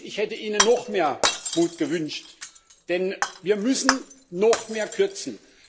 Sie wissen, ich hätte Ihnen noch mehr Mut gewünscht, denn wir müssen noch mehr kürzen.